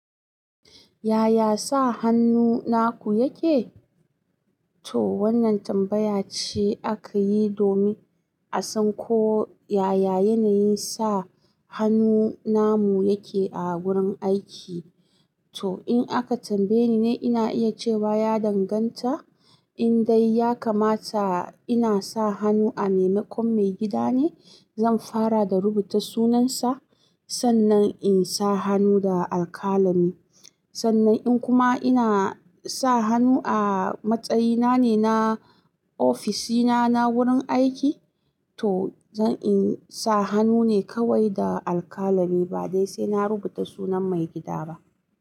Yaya sa hannu naku yake? To wannan tambaya ce aka yi domin a san ko yaya yanayin sa hannu namu yake a gurin aiki. To in aka tambaye ni ne ina iya cewa ya danganta. In dai ya kamata ina sa hannu a maimakon maigida ne, zan fara da rubuta sunansa, sannan in sa hannu da alkalami. Sannan in kuma ina sa hannu a matsayina ne na ofisina ne na wurin aiki, to zan in sa hannu ne kawai da alkalami ba dai sai na rubuta sunan maigida ba.